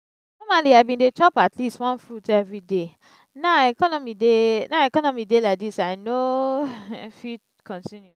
normally i bin dey chop atleast one fruit everyday now economy dey now economy dey like dis i no fit continue